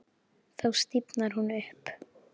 Þá stífnar hún upp.